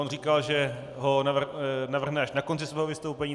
On říkal, že ho navrhne až na konci svého vystoupení.